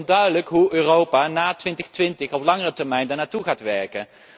Het is nog onduidelijk hoe Europa er na 2020 op langere termijn naartoe gaat werken.